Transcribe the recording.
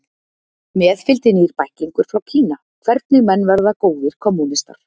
Með fylgdi nýr bæklingur frá Kína, Hvernig menn verða góðir kommúnistar